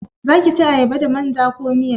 Zaki ci ayaba da manja ko miya?